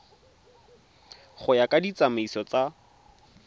go ya ka ditsamaiso tsa